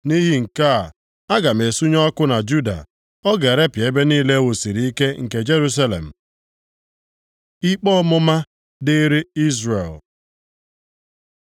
Nʼihi nke a, aga m esunye ọkụ na Juda, ọ ga-erepịa ebe niile e wusiri ike nke Jerusalem.” Ikpe ọmụma dịrị Izrel